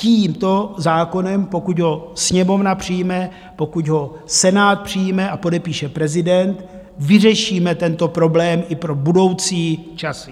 Tímto zákonem, pokud ho Sněmovna přijme, pokud ho Senát přijme a podepíše prezident, vyřešíme tento problém i pro budoucí časy.